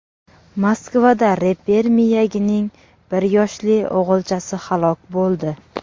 Moskvada reper Miyagining bir yoshli o‘g‘ilchasi halok bo‘ldi.